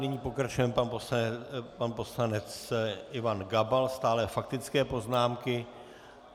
Nyní pokračuje pan poslanec Ivan Gabal, stále faktické poznámky.